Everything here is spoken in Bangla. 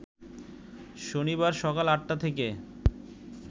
শনিবার সকাল ৮টা থেকে